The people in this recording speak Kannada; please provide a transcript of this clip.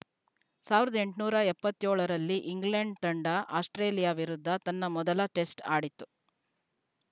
ಸಾವಿರದ ಎಂಟುನೂರ ಎಪ್ಪತ್ಯೋಳ ರಲ್ಲಿ ಇಂಗ್ಲೆಂಡ್‌ ತಂಡ ಆಸ್ಪ್ರೇಲಿಯಾ ವಿರುದ್ಧ ತನ್ನ ಮೊದಲ ಟೆಸ್ಟ್‌ ಆಡಿತ್ತು